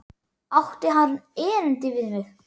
Átti hann erindi við mig?